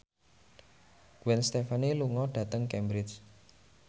Gwen Stefani lunga dhateng Cambridge